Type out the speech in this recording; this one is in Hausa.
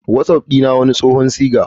My whatsapp wani tsohon siga.